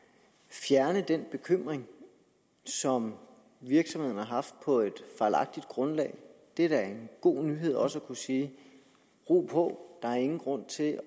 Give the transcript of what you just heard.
fjerne den bekymring som virksomheden har haft på et fejlagtigt grundlag det er da en god nyhed også at kunne sige ro på der er ingen grund til at